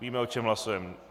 Víme o čem hlasujeme.